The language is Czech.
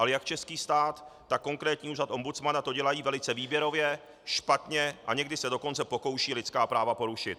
Ale jak český stát, tak konkrétní úřad ombudsmana to dělají velice výběrově, špatněm a někdy se dokonce pokoušejí lidská práva porušit.